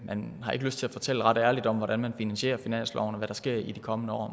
man har ikke lyst til at fortælle ret ærligt om hvordan man finansierer finansloven og hvad der sker i de kommende år